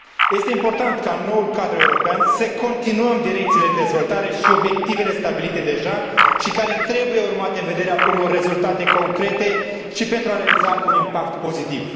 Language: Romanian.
Este important ca, în noul cadru european, să continuăm direcțiile de dezvoltare și obiectivele stabilite deja, care trebuie urmate în vederea unor rezultate concrete și pentru a realiza un impact pozitiv.